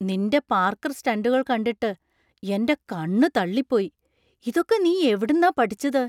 നിൻ്റെ പാർക്കർ സ്റ്റണ്ടുകൾ കണ്ടിട്ട് എൻ്റെ കണ്ണ് തള്ളിപ്പോയി; ഇതൊക്കെ നീ എവിടുന്നാ പഠിച്ചത്?